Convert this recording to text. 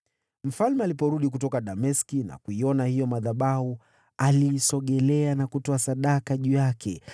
Mfalme aliporudi kutoka Dameski na kuona hayo madhabahu, akayasogelea na kutoa sadaka juu yake.